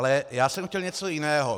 Ale já jsem chtěl něco jiného.